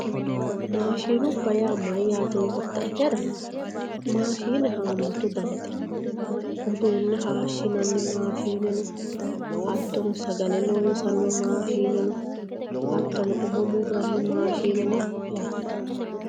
Maashinubba yaa mayyaate yoottaetera maashine haammatu danite uduunne hayishshinanni maashineno hattono sagale loonsanni maashineno hattono umo murranni maashineno yaate